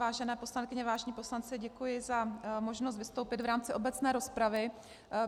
Vážené poslankyně, vážení poslanci, děkuji za možnost vystoupit v rámci obecné rozpravy.